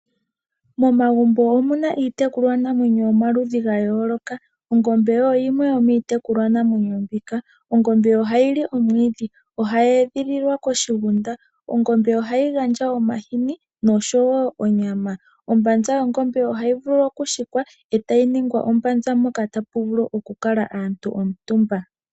Moma omuna iitekulwa namwepma yayoloka. Ongombe oyo yimwe yomiitekulwa namwenyo mbika. Ongombe ohayi li omwiidhi. Ohayi edhililwa moshigunda. Ongombe ohayi gandja omahini noshowo onyama. Ombanza yongombe ohayi vulu oku hikwa ndele tayi ningwa oshinima tashi vulu oku kalwa omutumba.